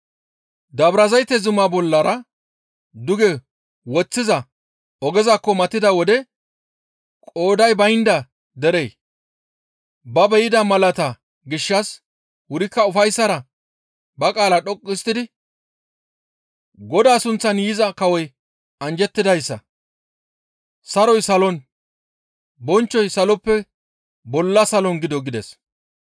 Dabrazayte zumaa bollara duge woththiza ogezakko matida wode qooday baynda derey ba be7ida malaata gishshas wurikka ufayssara ba qaala dhoqqu histtidi, «Godaa sunththan yiza kawoy anjjettidayssa; saroy salon, bonchchoy saloppe bolla salon gido» gides.